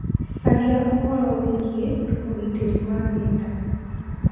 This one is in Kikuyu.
Caria ũhoro wĩgiĩ ũgitĩri wa nenda.